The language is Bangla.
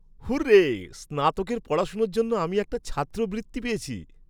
হুররে! স্নাতকের পড়াশোনার জন্য আমি একটা ছাত্রবৃত্তি পেয়েছি!